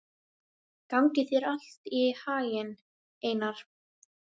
Gangi þér allt í haginn, Einar.